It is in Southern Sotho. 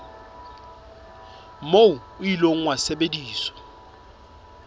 moo o ile wa sebediswa